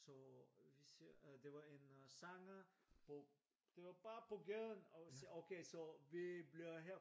Så vi ser det var en sanger på det var bare på gaden så okay så vi bliver her